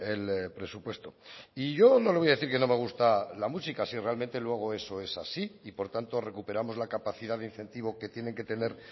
el presupuesto y yo no le voy a decir que no me gusta la música si realmente luego eso es así y por tanto recuperamos la capacidad de incentivo que tienen que tener